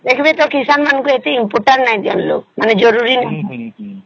ଦେଖଃବେ ତ କିଷାନ ମାନଙ୍କୁ ଏତେ importance ନାଇଁ ଦିଅନ୍ତି ଲୋକ ମାନେ ଜରୁରୀ ନାଇଁ